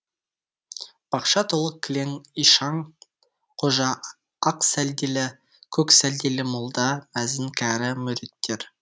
бақша толы кілең ишан қожа ақ сәлделі көк сәлделі молда мәзін кәрі мүриттер